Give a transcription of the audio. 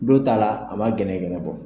Dow ta la a ma gɛnɛgɛnɛ bɔ.